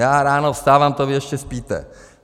Já ráno vstávám, to vy ještě spíte.